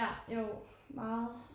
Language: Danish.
Ja jo meget